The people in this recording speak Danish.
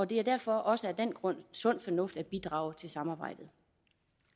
det er derfor også af den grund sund fornuft at bidrage til samarbejdet